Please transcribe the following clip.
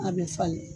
A bɛ falen